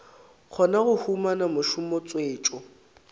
kgona go humana mešomo tswetšo